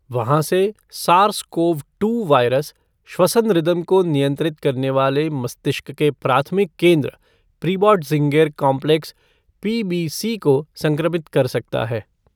वहाँ से, SARS CoV two virus, श्वसन रिदम को नियंत्रित करने वाले मस्तिष्क के प्राथमिक केंद्र प्रीबोटज़िन्गेर काम्प्लेक्स पीबीसी को संक्रमित कर सकता है।